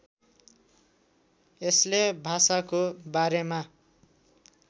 यसले भाषाको बारेमा